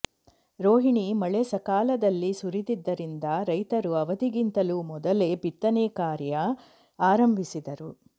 ರೋಹಿಣಿ ಮಳೆ ಸಕಾಲದಲ್ಲಿ ಸುರಿದಿದ್ದರಿಂದ ರೈತರು ಅವಧಿಗಿಂತಲೂ ಮೊದಲೇ ಬಿತ್ತನೆ ಕಾರ್ಯ ಆರಂಭಿಸಿದ್ದರು